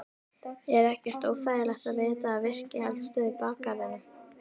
Er ekkert óþægilegt að vita af virkri eldstöð í bakgarðinum?